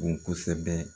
Bon kosɛbɛ